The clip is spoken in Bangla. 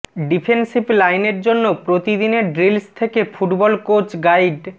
ডিফেন্সিভ লাইনের জন্য প্রতিদিনের ড্রিলস থেকে ফুটবল কোচ গাইড